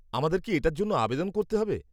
আমাদের কি এটার জন্য আবেদন করতে হবে?